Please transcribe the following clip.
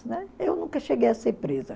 Eu nunca cheguei a ser presa.